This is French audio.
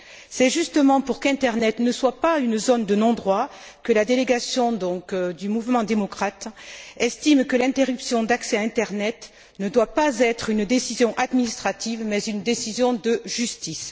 C'est justement pour que l'internet ne soit pas une zone de non droit que la délégation du Mouvement démocrate estime que l'interruption d'accès à l'internet ne doit pas relever d'une décision administrative mais d'une décision de justice.